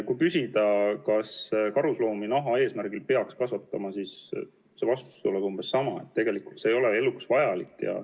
Kui küsida, kas karusloomi naha saamise eesmärgil peaks kasvatama, siis vastus tuleb umbes selline, et tegelikult see ei ole eluks vajalik.